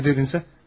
Nə dedin sən?